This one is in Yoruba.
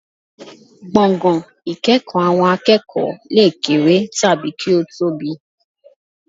Gbọ̀ngàn ìkẹ́kọ̀ọ́ àwọn akẹ́kọ̀ọ́ lè kéré tàbí kí ó tóbi